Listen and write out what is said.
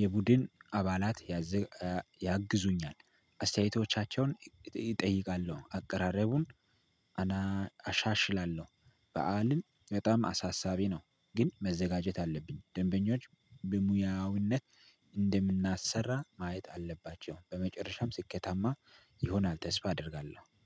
የቡድን አባላት። ያግዙኛል አስተያየቶቻቸውን እጠይቃለሁ። አቀራረቡን አሻሽላለሁ። በዓልን በጣም አሳሳቢ ነው። ግን መዘጋጀት አለብኝ። ደንበኞች በሙያዊነት እንደምናሰራ ማየት አለባቸው። በመጨረሻም ስኬታማ ይሆናል ተስፋ አደርጋለሁ